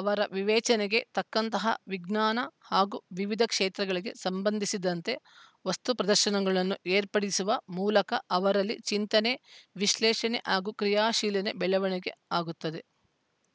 ಅವರ ವಿವೇಚನೆಗೆ ತಕ್ಕಂತಹ ವಿಜ್ಞಾನ ಹಾಗೂ ವಿವಿಧ ಕ್ಷೇತಗಳಿಗೆ ಸಂಬಂಧಿಸಿದಂತೆ ವಸ್ತು ಪ್ರದರ್ಶನಗಳನ್ನು ಏರ್ಪಡಿಸುವ ಮೂಲಕ ಅವರಲ್ಲಿ ಚಿಂತನೆ ವಿಶ್ಲೇಷಣೆ ಹಾಗೂ ಕ್ರಿಯಾಶೀಲನೆ ಬೆಳವಣಿಗೆ ಆಗುತ್ತದೆ